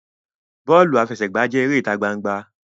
Bọọlu afẹsẹgba jẹ èrè ita gbangba.